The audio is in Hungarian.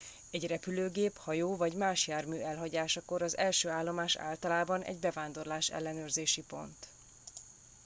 egy repülőgép hajó vagy más jármű elhagyásakor az első állomás általában egy bevándorlás ellenőrzési pont